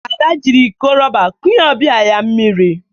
Ada jiri ikọ rọba kunye ọbịa ya mmiri